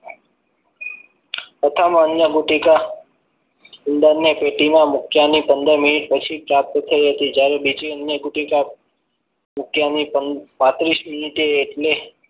પ્રથમ અન્ન ગુટિકા ઉંદરને પેટીમાં મૂક્યાની પંદર minute પછી પ્રાપ્ત થઈ હતી જ્યારે બીજી અન્ન ગુટિકા મૂક્યાની પાંત્રીસ minute એટલે